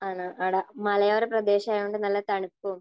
ആണ് അവിടെ. മലയോര പ്രദേശമായതുകൊണ്ട് നല്ല തണുപ്പും